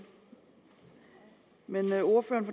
men ordføreren